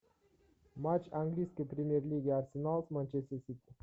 матч английской премьер лиги арсенал с манчестер сити